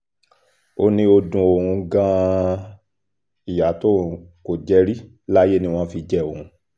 ó ní ó dun òun gan-an ìyá tóun kò jẹ rí láyé ni wọ́n fi jẹ òun